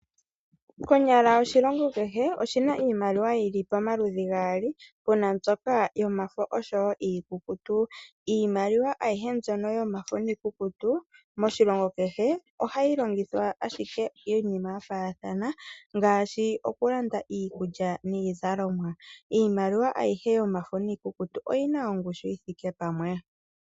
Konyala oshilongo kehe oshina iimaliwa ya yoolokathana, puna mbyoka yomafo naambyoka iikukutu. Iimaliwa mbyono yomafo niikukutu moshilongo kehe ohayi longithwa iinima ya faathana, ngaashi okulanda iikulya niizalimwa. Iimaliwa ayihe yomafo niikukutu oyina ongushu yithike pamwe.